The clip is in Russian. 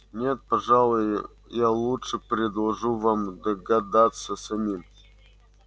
нет пожалуй я лучше предложу вам догадаться самим